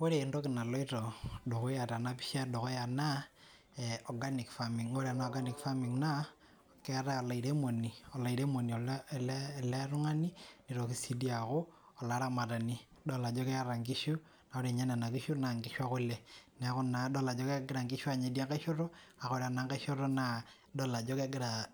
Wore entoki naloito dukuya tenapisha edukuya naa, organic farming. Wore ena organic farming naa, keetae olairemoni, olairemok ele tungani, nitoki sii dii aaku, olaramatani. Idol ajo keeta inkishu, naa wore ninye niana kishu naa inkishu ekule. Neeku naa idol ajo kekira inkishu aanya idiankae shoto, kake wore enankae shoto naa idol ajo kekira